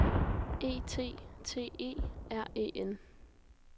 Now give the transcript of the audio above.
E T T E R E N